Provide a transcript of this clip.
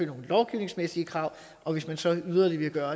nogle lovgivningsmæssige krav og hvis man så yderligere vil gøre